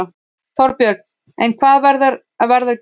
Þorbjörn: En hvaða verð var greitt?